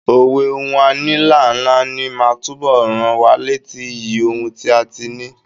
Òwe "Ohun a ní là ń náání" máa túbọ̀ rán wa létí iyì ohun tí a ti ní.